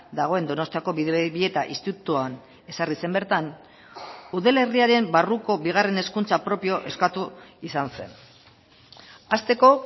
dagoen donostiako bidebieta institutuan ezarri zen bertan udalerriaren barruko bigarren hezkuntza propio eskatu izan zen hasteko